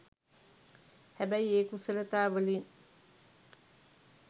හැබැයි ඒ කුසලතා වලින්